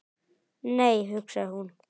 Nei, hugsaði hún.